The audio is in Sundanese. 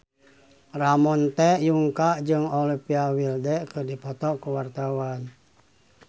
Ramon T. Yungka jeung Olivia Wilde keur dipoto ku wartawan